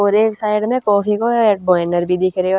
और एक साइड म कॉफी का एड बैनर भी दिख रयो ह।